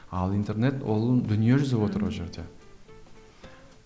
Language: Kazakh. ал интернет ол дүниежүзі отыр ол жерде